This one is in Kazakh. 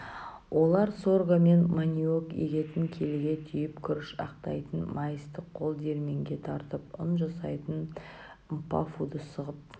олар сорго мен маниок егетін келіге түйіп күріш ақтайтын маисті қол-диірменге тартып үн жасайтын мпафуды сығып